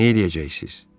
Nə deyəcəksiniz?